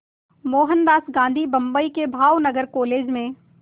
मोहनदास गांधी बम्बई के भावनगर कॉलेज में